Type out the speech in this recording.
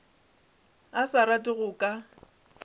a sa rate go ka